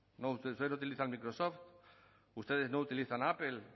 ustedes no utilizan microsoft ustedes no utilizan apple